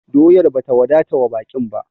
Doyar ba ta wadata wa baƙin ba!